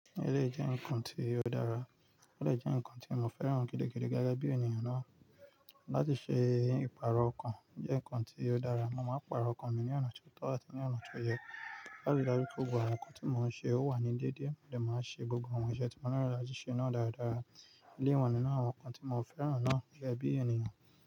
Eleyii jẹ́ ǹnkan ti o dára, ó dè jẹ́ ǹnkan tí mo fẹ́ràn gidigidi gẹ́gẹ́ bí ènìyàn náà. Láti ṣe ìpààrọ̀ ọkàn jẹ́ nǹkan ti ó dára. Mo máa ń pààrọ̀ ọkàn mi ní ọ̀nà tí o tọ́ àti ní ọ̀nà tó yẹ láti dájú pé gbogbo àwọn nǹkan tí mo ń ṣe o wà ní déédéé, mo dẹ̀ máa ṣe gbogbo àwọn iṣẹ́ tí mo nílò láti ṣe náà dáradára elé yìí wà nínú àwọn nǹkan tí mo fẹ́ràn náà gẹ́gẹ́ bí ènìyàn.